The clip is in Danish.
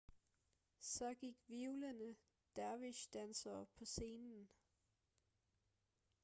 så gik hvirvlende dervish-dansere på scenen